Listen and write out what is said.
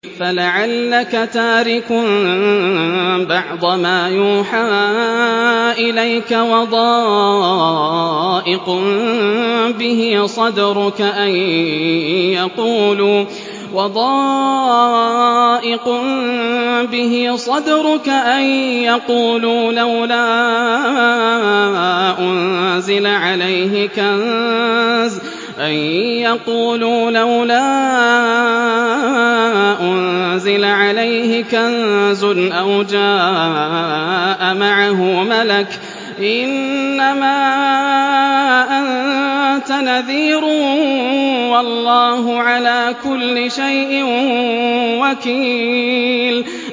فَلَعَلَّكَ تَارِكٌ بَعْضَ مَا يُوحَىٰ إِلَيْكَ وَضَائِقٌ بِهِ صَدْرُكَ أَن يَقُولُوا لَوْلَا أُنزِلَ عَلَيْهِ كَنزٌ أَوْ جَاءَ مَعَهُ مَلَكٌ ۚ إِنَّمَا أَنتَ نَذِيرٌ ۚ وَاللَّهُ عَلَىٰ كُلِّ شَيْءٍ وَكِيلٌ